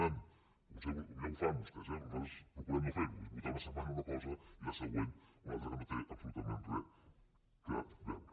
potser ho fan vostès eh però nosaltres procurem no fer·ho votar una setmana una cosa i la següent una altra que no hi té absolutament res a veure